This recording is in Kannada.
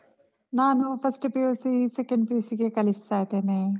ನಾನು first PUC , second PUC ಗೆ ಕಲಿಸ್ತಾ ಇದ್ದೇನೆ.